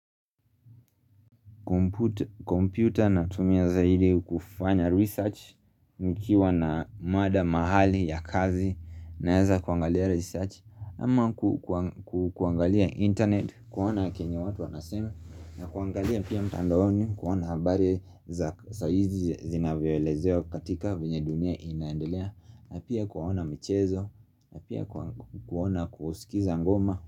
Kompyuta natumia zaidi kufanya research. Nikiwa na mada mahali ya kazi naweza kuangalia research ama kuangalia internet kuona chenye watu wanasema na kuangalia pia mtandaoni kuona habari za saa hizi zinavyolezewa katika vyenye dunia inaendelea, na pia kuona michezo, na pia kuona kusikiza ngoma.